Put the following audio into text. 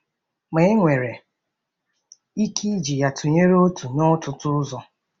Ma e nwere ike iji ya tụnyere otu n'ọtụtụ ụzọ.